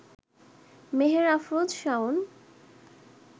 Meher Afroz Shaon